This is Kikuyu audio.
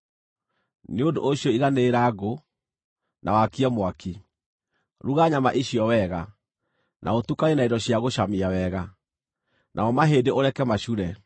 Nĩ ũndũ ũcio iganĩrĩra ngũ, na wakie mwaki. Ruga nyama icio wega, na ũtukanie na indo cia gũcamia wega; namo mahĩndĩ ũreke macure.